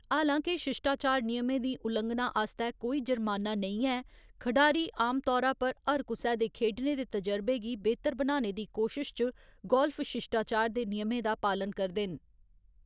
हालां के शिश्टाचार नियमें दी उलंघना आस्तै कोई जर्माना नेईं ऐ, खडारी आमतौरा पर हर कुसै दे खेढने दे तजुर्बे गी बेह्‌तर बनाने दी कोशश च गोल्फ शिश्टाचार दे नियमें दा पालन करदे न।